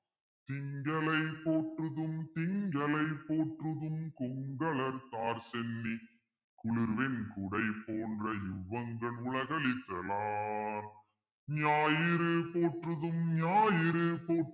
திங்களை போற்றுதும் திங்களை போற்றுதும் கொங்கலர்த்தார்ச் சென்னி குளிர்வெண் குடைபோன்றிவ் வங்கண் உலகுஅளித்த லான் ஞாயிறு போற்றுதும் ஞாயிறு போற்றுதும்